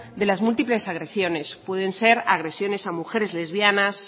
de las múltiples agresiones pueden ser agresiones a mujeres lesbianas